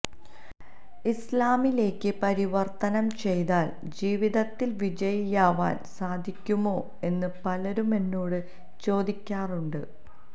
ഇസ്ലാമിലേക്ക് പരിവര്ത്തനം ചെയ്താൽ ജീവിതത്തില് വിജയിയാവാൻ സാധിക്കുമോ എന്ന് പലരും എന്നോട് ചോദിക്കാറുണ്ട്